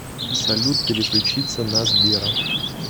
салют переключиться на сбера